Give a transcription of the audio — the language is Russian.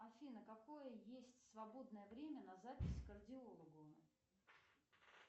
афина какое есть свободное время на запись к кардиологу